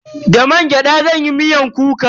Da mangyada zan yi miyar kuka.